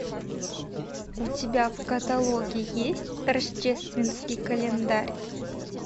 у тебя в каталоге есть рождественский календарь